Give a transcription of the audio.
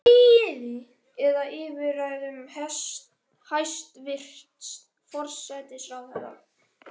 Eða yfir ræðum hæstvirts forsætisráðherra?